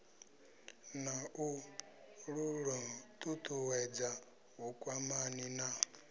na u ṱuṱuwedza vhukwamani na